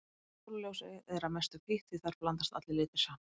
Sólarljósið er að mestu hvítt því þar blandast allir litir saman.